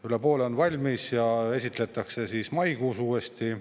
Üle poole on valmis ja esitletakse maikuus uuesti.